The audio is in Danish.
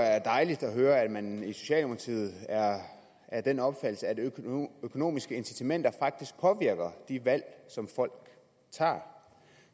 er dejligt at høre at man i socialdemokratiet er af den opfattelse at økonomiske incitamenter faktisk påvirker de valg som folk tager